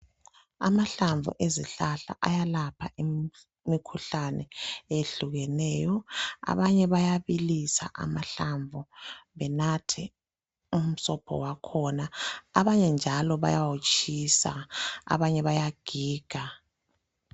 Amahlamvu ezihlahla ayalapha imikhuhlane oyehlukeneyo. Abanye bayabilisa amahlamvu benathe umsobho wakhona, abanye njalo bayawutshisa abanye bayagiga.